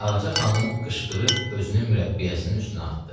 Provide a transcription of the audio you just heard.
Ağca xanım qışqırıb özünü mürəbbiyəsinin üstünə atdı.